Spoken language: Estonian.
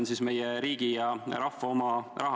Ja see on meie riigi ja rahva oma raha.